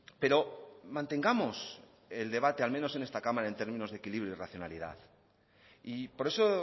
pero mantengamos el debate al menos en esta cámara en términos de equilibrio y racionalidad y por eso